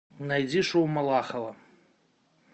найди шоу малахова